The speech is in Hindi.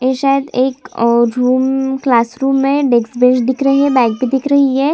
ये शायद एक औ रूम क्लास रूम है नेक्स्ट बैंच दिख रही हैं बैग भी दिख रही है।